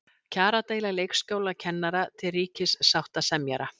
Kjaradeila leikskólakennara til ríkissáttasemjara